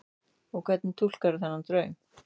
Og hvernig túlkarðu þennan draum?